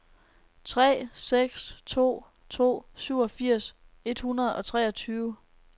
tre seks to to syvogfirs et hundrede og treogtyve